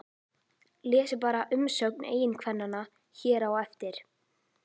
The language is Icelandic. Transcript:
Lesið bara umsögn eiginkvennanna hér á eftir